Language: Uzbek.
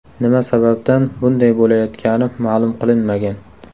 Nima sababdan bunday bo‘layotgani ma’lum qilinmagan.